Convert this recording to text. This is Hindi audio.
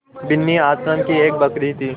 बिन्नी आश्रम की एक बकरी थी